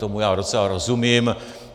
Tomu já docela rozumím.